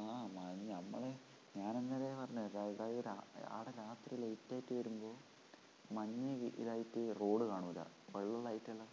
ആ നമ്മള് ഞാൻ അന്നേരെ പറഞ്ഞു അവടെ രാത്രി late ആയിട്ടു വരുമ്പോ മഞ്ഞ ഇതായിട്ടു റോഡ് കാണൂല്ല വെള്ള light ല്